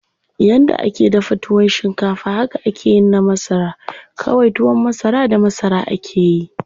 Yanda ake dafa tuwon shinkafa haka akeyin na masara, kawai tuwon masara da masara akeyi.